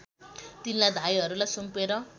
तिनलाई धाइहरूलाई सुम्पेर